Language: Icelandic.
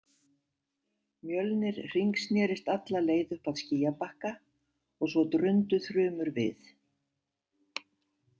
Mjölnir hringsnerist alla leið upp að skýjabakka og svo drundu þrumur við.